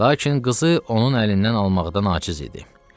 Lakin qızı onun əlindən almaqda aciz idi.